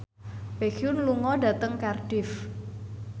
Baekhyun lunga dhateng Cardiff